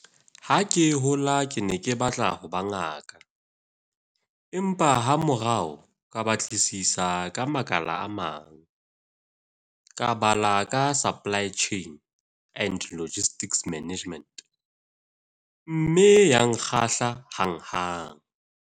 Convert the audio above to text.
"Ha ke hola ke ne ke batla ho ba ngaka, empa hamorao ka batlisisa ka makala a mang. Ka bala ka supply chain and logistics management mme ya nkgahla hanghang."